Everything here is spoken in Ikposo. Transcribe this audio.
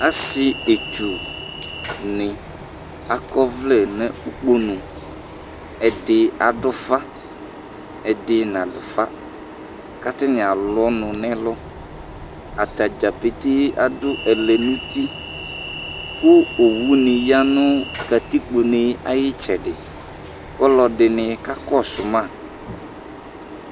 Asi ɛtsuni akɔ ɔvlɛ ŋu ukponu Ɛɖi aɖu ufa, ɛɖi naɖu ufa Ataŋi alu ɔnu ŋu ɛlu Atadza pete aɖʋ ɛlɛnuti Owuní yaŋʋ katikpo ne ayʋ itsɛɖi kʋ ɔlɔɖìŋí kakɔsuma